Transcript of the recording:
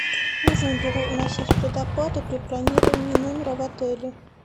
нужно ли вносить предоплату при бронировании номера в отеле